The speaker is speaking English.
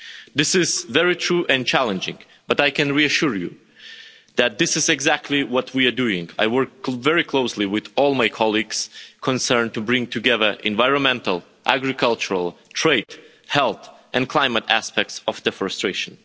This is very true and challenging, but I can reassure you that this is exactly what we are doing. I work very closely with all my colleagues concerned to bring together environmental, agricultural, trade, health and climate aspects of deforestation.